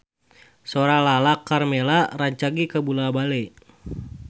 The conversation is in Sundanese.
Sora Lala Karmela rancage kabula-bale